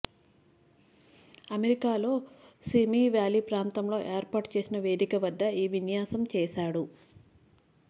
అమెరికాలోని Simi Valley ప్రాంతంలో ఏర్పాటు చేసిన వేదిక వద్ద ఈ విన్యాసం చేశాడు